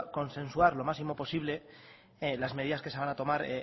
consensuar lo máximo posible las medidas que se van a tomar